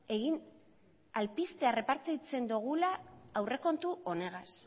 errepartitzen dugula aurrekontu honegaz